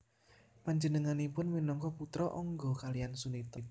Panjenenganipun minangka putra Angga kaliyan Sunita